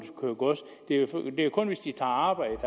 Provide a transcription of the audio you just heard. det er jo kun hvis de tager arbejde